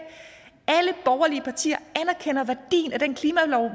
alle borgerlige partier anerkender værdien af den klimalov